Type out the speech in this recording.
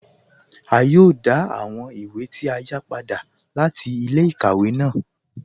À yòò dá àwọn ìwé tí a yá padà láti ilẹ̀-ikàwẹ̀ ná